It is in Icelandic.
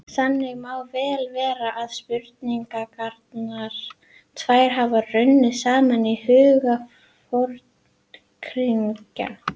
Þannig má vel vera að spurningarnar tvær hafi runnið saman í huga Forngrikkja.